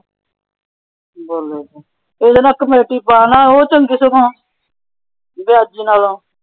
ਬੋਲੋ, ਉਹਨੂੰ ਕਹਿ ਕਮੇਟੀ ਪਾ ਨਾ ਕਿਸੇ ਥਾਂ।